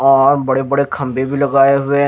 और बड़े बड़े खंबे भी लगाए हुए--